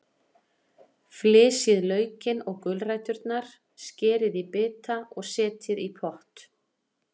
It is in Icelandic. Flysjið laukinn og gulræturnar, skerið í bita og setjið í pott.